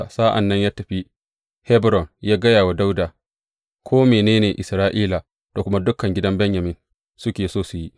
Sa’an nan ya tafi Hebron yă gaya wa Dawuda ko mene ne Isra’ila da kuma dukan gidan Benyamin suke so su yi.